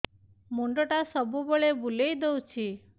ମୁଣ୍ଡଟା ସବୁବେଳେ ବୁଲେଇ ଦଉଛି